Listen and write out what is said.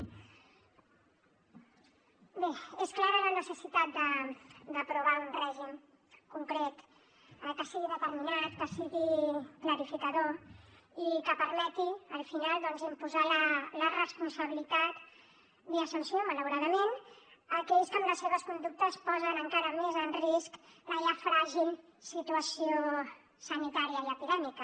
bé és clara la necessitat d’aprovar un règim concret que sigui determinat que sigui clarificador i que permeti al final doncs imposar la responsabilitat via sanció malauradament a aquells que amb les seves conductes posen encara més en risc la ja fràgil situació sanitària i epidèmica